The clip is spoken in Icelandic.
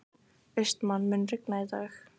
Austmann, mun rigna í dag?